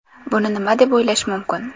Buni nima deb o‘ylash mumkin.